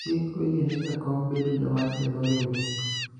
chik oyiene jakom bedo jawach e lo riwruok